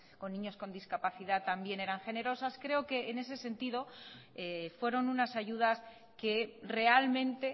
con niños con discapacidad también eran generosas creo que en ese sentido fueron unas ayudas que realmente